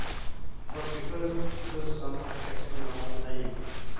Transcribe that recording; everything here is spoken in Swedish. fyrtiosju tusen sexhundraåttionio